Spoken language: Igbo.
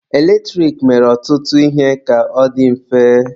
Eletrik mere ọtụtụ ihe ka ọ dị mfe.